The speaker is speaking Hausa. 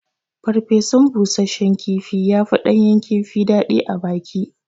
Farfesun bushashshen kifi ya fi ɗanyan kifi daɗi abaki